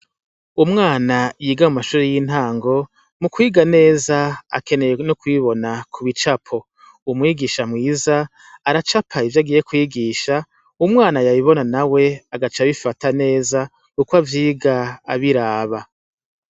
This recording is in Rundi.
Umwana yiga mu mashuri y'intango mu kwiga neza akeneye no kubibona ku bicapo umwigisha mwiza aracakaye ivyo agiye kwigisha umwana yabibona na we agaca abifata neza uko avyiga abiraba.